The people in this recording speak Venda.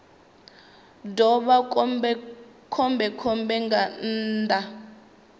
ḓo vha khombekhombe nga nnḓa